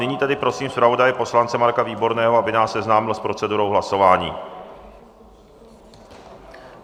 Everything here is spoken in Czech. Nyní tedy prosím zpravodaje poslance Marka Výborného, aby nás seznámil s procedurou hlasování.